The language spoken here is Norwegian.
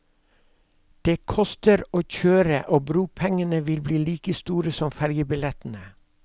Det koster å kjøre og bropengene vil bli like store som fergebillettene.